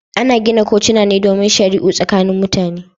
Ana gina kotuna ne domin shari'u tsakanin mutane.